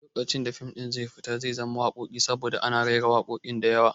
Lokacin da fim ɗin zai fita zai zama wakoki saboda ana raira wakoki diyawa